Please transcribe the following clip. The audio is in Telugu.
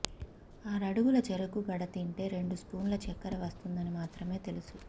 ఆరడుగల చెరకు గడ తింటే రెండు స్పూన్ల చక్కెర వస్తుందని మాత్రమే తెలుసు